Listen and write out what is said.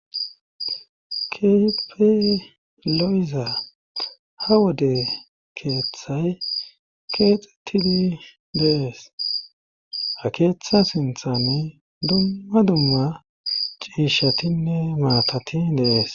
Keehippe lo7iza ha wode keethay keexettidi de7ees;ha keethaa sinthani dumma dumma ciishshatinne maatati de7ees.